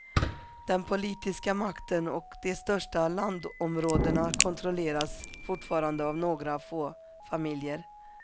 Den politiska makten och de största landområdena kontrolleras fortfarande av några få familjer.